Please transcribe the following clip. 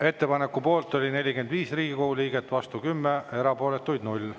Ettepaneku poolt oli 45 Riigikogu liiget, vastu 10, erapooletuid 0.